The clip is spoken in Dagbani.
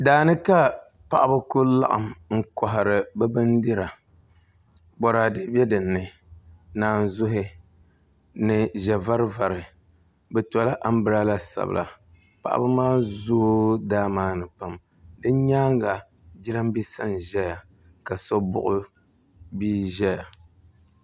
Daani ka paɣaba ku laɣam n kohari bi bindira Boraadɛ bɛ dinni naanzuhi ni ʒɛ vari vari bi tola anbirala sabila paɣaba maa zooi daa maa ni pam di nyaanga jiranbiisa n ʒɛya ka so buɣi bia ʒɛya